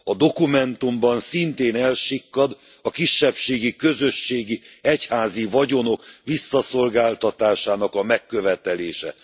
A dokumentumban szintén elsikkad a kisebbségi közösségi egyházi vagyonok visszaszolgáltatásának a megkövetelése.